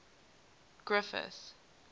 griffith